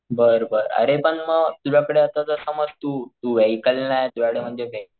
बर बर अरे पण मग तुझ्या कडे आता समज तू तू वेहिकल नाही तुझ्याकडं म्हणजे,